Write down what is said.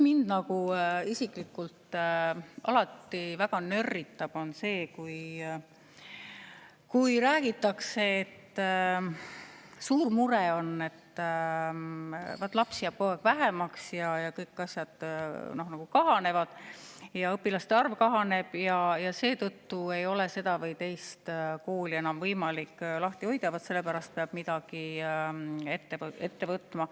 Mind isiklikult alati väga nörritab see, kui räägitakse, et on suur mure, et lapsi jääb vähemaks, kõik asjad kahanevad, ka õpilaste arv kahaneb, ja seetõttu ei ole seda või teist kooli enam võimalik lahti hoida, vaat sellepärast peab midagi ette võtma.